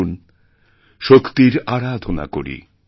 আসুন শক্তির আরাধনা করি